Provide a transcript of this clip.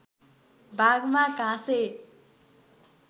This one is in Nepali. भागमा घाँसे